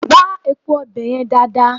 Gbá epo ọbẹ̀ yẹn dáadáa!